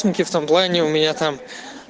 тинки в том плане у меня там